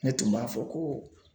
Ne tun b'a fɔ ko